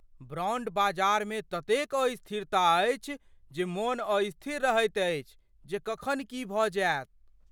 Bond बाजारमे ततेक अस्थिरता अछि जे मोन अस्थिर रहैत अछि जे कखन की भऽ जायत।